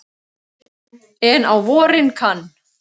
En á vorin kann